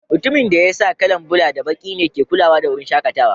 Mutumin da ya sa kala'n bula da baki ne ke kulawa da wurin shakatawan.